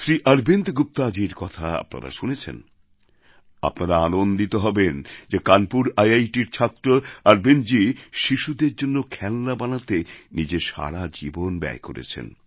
শ্রী অরবিন্দ গুপ্তাজীর কথা আপনারা শুনেছেন আপনারা আনন্দিত হবেন যে কানপুর আইআইটির ছাত্র অরবিন্দজী শিশুদের জন্য খেলনা বানাতে নিজের সারা জীবন ব্যয় করেছেন